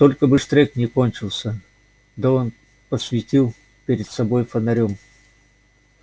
только бы штрек не кончился дон посветил перед собой фонарём